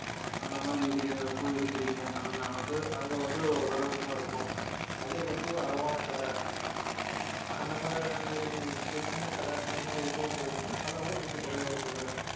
அந்த மாதிரி இதுல போய் எடுக்குறீங்க அப்படின்னா வந்து அங்க வந்து அதோட விலை இன்னும் இருக்கும் அதே வந்து ஒரு அளவான கடை அந்த மாதிரி ஒரு சின்ன கடை அந்த மாதிரி இதுக்கெல்லாம் போறீங்கன்னா அதைவிட கொஞ்சம் குறைவா இருக்கு விலை